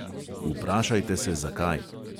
Vprašajte se, zakaj.